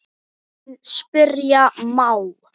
En spyrja má?